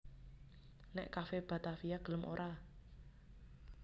Nek Cafe Batavia gelem ora